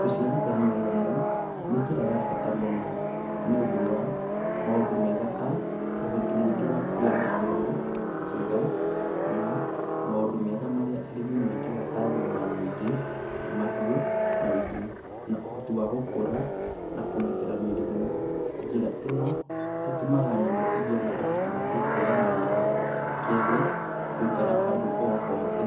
Gũciarithania nyamũ nĩ njĩra ya bata mũno nĩũndũ wa maũndũ mega ta ũhoti mũingĩ wa kũgĩa na ciana njega na maũndũ mega marĩa arĩmi mendaga ta nyama nyingĩ, mahĩu maingĩ na ũhoti wagũkũra na kũgitĩra mĩrimũ. Njĩra ĩno ĩtũmaga nyamũ igĩe na ũhoti wagũkũra narua, kerĩ gũikara handũ o hothe.